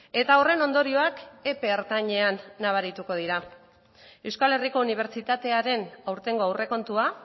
eta horren ondorioak epe ertainean nabarituko dira euskal herriko unibertsitatearen aurtengo aurrekontua